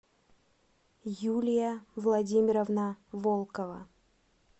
юлия владимировна волкова